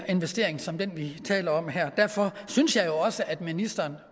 investering som den vi taler om her derfor synes jeg også at ministeren